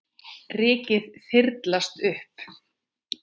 Rykið þyrlast upp.